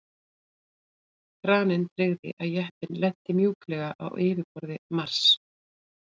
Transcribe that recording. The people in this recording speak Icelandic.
kraninn tryggði að jeppinn lenti mjúklega á yfirborði mars